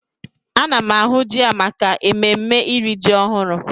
Ana m ahụ ji a maka ememme iri ji ọhụrụ.